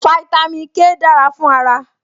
Fáítámì K dára fún ara